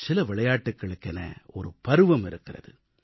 சில விளையாட்டுகளுக்கென ஒரு பருவம் இருக்கிறது